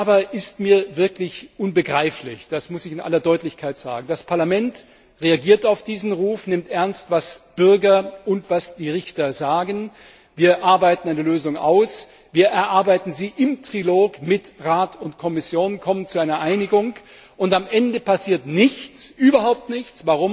Eines aber ist mir wirklich unbegreiflich, das muss ich in aller Deutlichkeit sagen Das Parlament reagiert auf diesen Ruf, nimmt ernst, was Bürger und was die Richter sagen, wir arbeiten eine Lösung aus, wir erarbeiten sie im Trilog mit Rat und Kommission, kommen zu einer Einigung, und am Ende passiert nichts, überhaupt nichts.